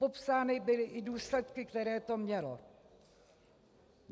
Popsány byly i důsledky, které to mělo.